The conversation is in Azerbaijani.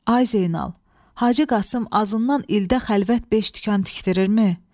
Ay Zeynal, Hacı Qasım azından ildə xəlvət beş dükan tikdirirmi?